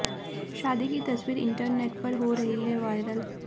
शादी की तस्वीर इंटरनेट पर हो रही है वायरल